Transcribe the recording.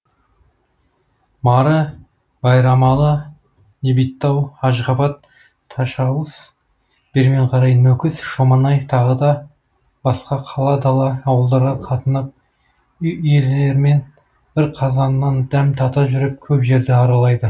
мары байрамалы небиттау ашғабат ташауыз бермен қарай нөкіс шоманай тағы да басқа қала дала ауылдарға қатынап үй иелерімен бір қазаннан дәм тата жүріп көп жерді аралайды